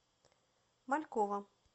малькова